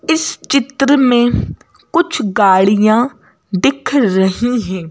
इस चित्र में कुछ गाड़ियां दिख रही हैं।